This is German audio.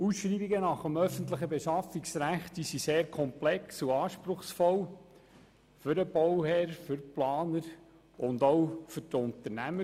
Ausschreibungen nach dem öffentlichen Beschaffungsrecht sind sehr komplex und anspruchsvoll, sei es für den Bauherrn, sei es für den Planer, sei es für die Unternehmer.